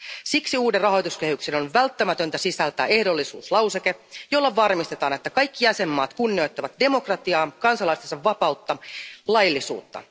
Siksi uuden rahoituskehyksen on välttämätöntä sisältää ehdollisuuslauseke, jolla varmistetaan, että kaikki jäsenvaltiot kunnioittavat demokratiaa, kansalaistensa vapautta ja laillisuutta.